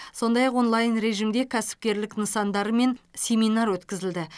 сондай ақ онлайн режимде кәсіпкерлік нысандарымен семинар өткізілді